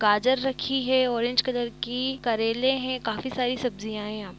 गाजर रखी है ओरेंज कलर की। करेले हैं काफी सारी सब्जियाँ हैं यहाँ प --